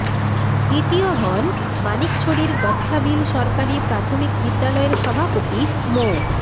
দ্বিতীয় হন মানিকছড়ির গচ্ছাবিল সরকারি প্রাথমিক বিদ্যালয়ের সভাপতি মো